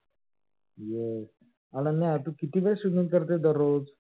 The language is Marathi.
yes अनन्या तू किती वेळ swimming करतेस दररोज?